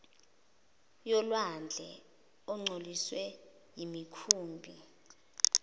yolwandle ingcoliswe yimikhumbi